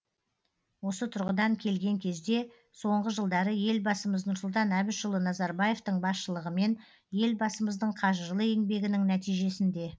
осы тұрғыдан келген кезде соңғы жылдары елбасымыз нұрсұлтан әбішұлы назарбаевтың басшылығымен елбасымыздың қажырлы еңбегінің нәтижесінде